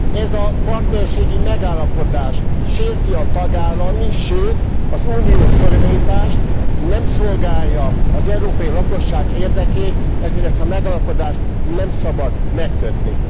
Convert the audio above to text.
Ez a partnerségi megállapodás sérti a tagállami, sőt az uniós szuverenitást, nem szolgálja az európai lakosság érdekét, ezért ezt a megállapodást nem szabad megkötni.